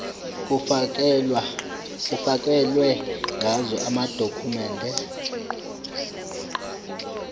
kufakelwe ngazo amadokhumende